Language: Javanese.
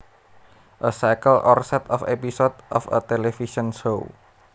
A cycle or set of episodes of a television show